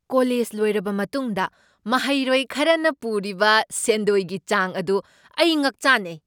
College ꯂꯣꯏꯔꯕ ꯃꯇꯨꯡꯗ ꯃꯍꯩꯔꯣꯏ ꯈꯔꯅ ꯄꯨꯔꯤꯕ ꯁꯦꯟꯗꯣꯏꯒꯤ ꯆꯥꯡ ꯑꯗꯨ ꯑꯩ ꯉꯛꯆꯥꯅꯩ ꯫